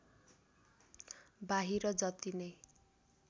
बाहिर जति नै